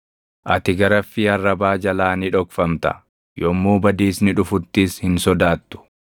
Ati garaffii arrabaa jalaa ni dhokfamta; yommuu badiisni dhufuttis hin sodaattu.